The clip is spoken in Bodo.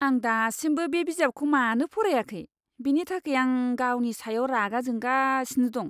आं दासिमबो बे बिजाबखौ मानो फरायाखै, बेनि थाखाय आं गावनि सायाव रागा जोंगासिनो दं!